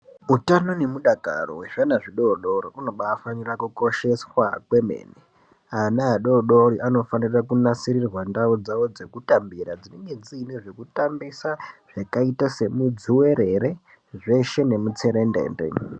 Utano neudakaro wezvana zvidoodori hunofanirwe kukosheswa kwemene. Ana adodori anofanire kunasirirwe ndau dzavo dzekutambira dzinenge dziine zvekutambisa zvakaita semudzuwerere nemutserendende.